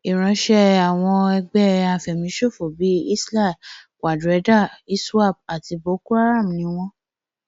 ìránṣẹ àwọn ẹgbẹ àfẹmíṣòfò bíi isial quadraeda iswap àti bokoharam ni wọn